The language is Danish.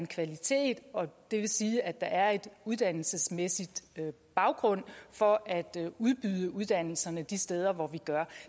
kvalitet og det vil sige at der er en uddannelsesmæssig baggrund for at udbyde uddannelserne de steder hvor vi gør